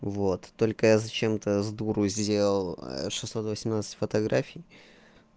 вот только я зачем-то я с дуру сделал шестьсот восемнадцать фотографий